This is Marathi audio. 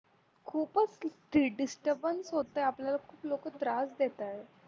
खूपच disturbance होत आपल्याला खूप लोक त्रास देतायत